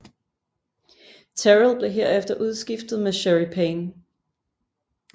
Terrell blev herefter udskiftet med Scherrie Payne